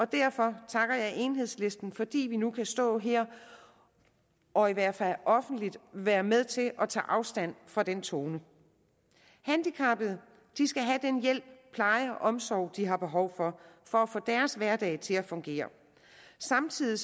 derfor takker jeg enhedslisten fordi vi nu kan stå her og i hvert fald offentligt være med til at tage afstand fra den tone handicappede skal have den hjælp pleje og omsorg de har behov for for at få deres hverdag til at fungere samtidig